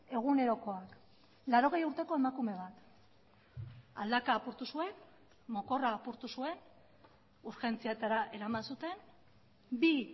egunerokoak laurogei urteko emakume bat aldaka apurtu zuen mokorra apurtu zuen urgentzietara eraman zuten bi